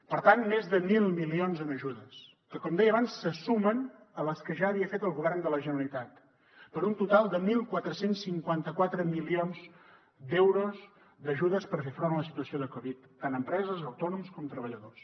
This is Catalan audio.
per tant més de mil milions en ajudes que com deia abans se sumen a les que ja havia fet el govern de la generalitat per un total de catorze cinquanta quatre milions d’euros d’ajudes per fer front a la situació de covid tant empreses autònoms com treballadors